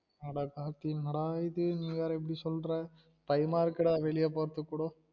அட கார்த்தி என்னடா நீ வேற இப்டி சொல்ற, பயமா இருக்கு டா வெளிய போறதுக்கு கூட